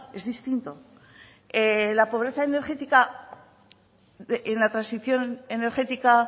es distinto la pobreza energética en la transición energética